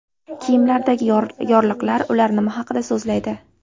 Kiyimlardagi yorliqlar: ular nima haqida so‘zlaydi?.